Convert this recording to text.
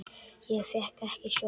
Ég fékk ekki sjokk.